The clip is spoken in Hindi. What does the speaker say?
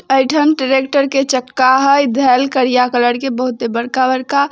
ऐठन ट्रैक्टर के चक्का है धेल कालिया कलर के बहुत ही बड़का बड़का।